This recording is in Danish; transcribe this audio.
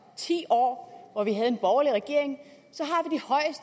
ti år hvor vi havde en borgerlig regering